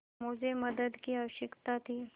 मुझे मदद की आवश्यकता थी